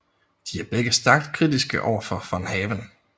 De er begge stærkt kritiske over for von Haven